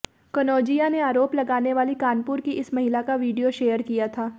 कनौजिया ने आरोप लगाने वाली कानपुर की इसमहिला का वीडियो शेयर किया था